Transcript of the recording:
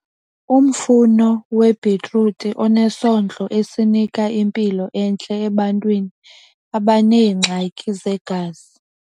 Umfuno webhitruthi unesondlo esinika impilo entle ebantwini abaneengxaki zegazi.